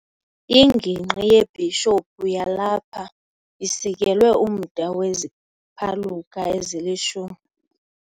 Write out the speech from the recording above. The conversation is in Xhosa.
Ingingqi yebhishophu yalapha isikelwe umda weziphaluka ezilishumi.